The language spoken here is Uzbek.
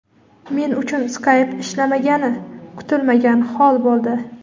"Men uchun Skype ishlamagani kutilmagan hol bo‘ldi".